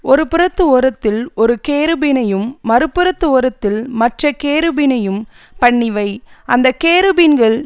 ஒரு புறத்து ஓரத்தில் ஒரு கேருபீனையும் மறுபுறத்து ஓரத்தில் மற்ற கேருபீனையும் பண்ணிவை அந்த கேருபீன்கள்